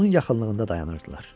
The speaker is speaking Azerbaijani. Onun yaxınlığında dayanırdılar.